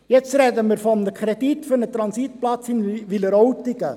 Jetzt sprechen wir von einem Kredit für einen Transitplatz in Wileroltigen.